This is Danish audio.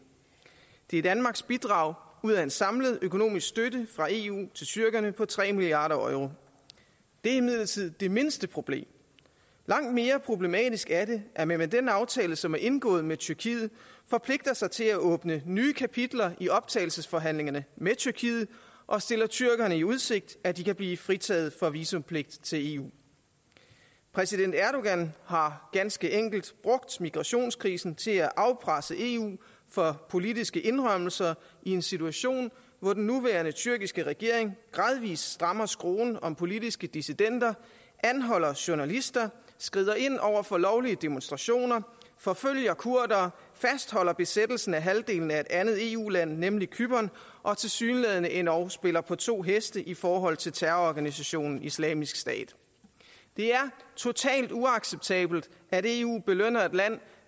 det er danmarks bidrag ud af en samlet økonomisk støtte fra eu til tyrkerne på tre milliard euro det er imidlertid det mindste problem langt mere problematisk er det at man med den aftale som er indgået med tyrkiet forpligter sig til at åbne nye kapitler i optagelsesforhandlingerne med tyrkiet og stiller tyrkerne i udsigt at de kan blive fritaget for visumpligt til eu præsident erdogan har ganske enkelt brugt migrationskrisen til at afpresse eu for politiske indrømmelser i en situation hvor den nuværende tyrkiske regering gradvis strammer skruen om politiske dissidenter anholder journalister skrider ind over for lovlige demonstrationer forfølger kurdere fastholder besættelsen af halvdelen af et andet eu land nemlig cypern og tilsyneladende endog spiller på to heste i forhold til terrororganisationen islamisk stat det er totalt uacceptabelt at eu belønner et land